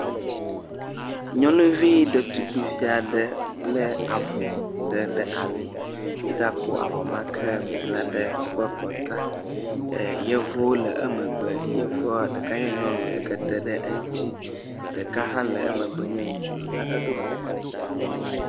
Nyɔnuvi ɖetugbevi aɖe bla avɔ aɖe ɖe ali, egakɔ avɔ ma ke bla ɖe eƒe kɔ, yevuwo le emegbe, yevu ɖeka nye nyɔnu yeke te ɖe eŋuti, ɖeka hã le emegbe nye ŋutsu, ya eɖo kuku.